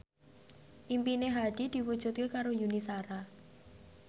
impine Hadi diwujudke karo Yuni Shara